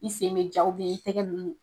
I sen bɛ ja i tɛgɛ ninnu